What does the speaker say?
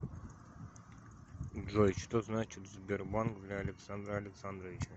джой что значит сбербанк для александра алексадровича